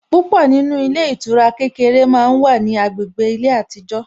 Púpọ̀ nínú ilé ìtura kékeré màá wá ní agbègbè ilé àtijó